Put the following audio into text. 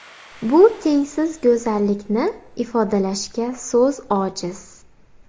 Bu tengsiz go‘zallikni ifodalashga so‘z ojiz.